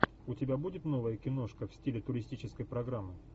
у тебя будет новая киношка в стиле туристической программы